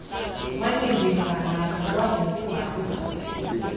wanengevane akakwazi nokuhamba